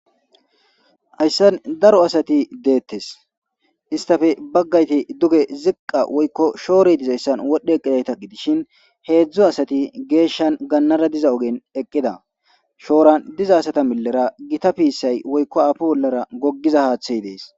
Ayssan daro asati deettes istafe baggayti duge ziqqa woykko shoore dizayssan wodhdhe eqqidayta gidishin heedzdzo asati geeshshan gannara diza ogen eqqida shooran diza asata millera gita piisay woykko afu wollara goggiza haaththay dees